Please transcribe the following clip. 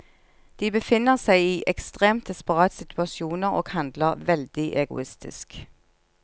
De befinner seg i ekstremt desperate situasjoner og handler veldig egoistisk.